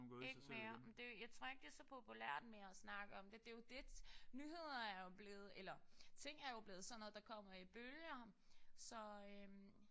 Ikke mere. Men det jeg tror ikke det er så populært mere at snakke om det. Det jo lidt nyheder er jo blevet eller ting er jo blevet sådan noget der kommer i bølger så